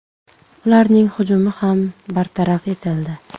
Ularning hujumi ham bartaraf etildi.